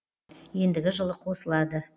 ендігі жылы қосылады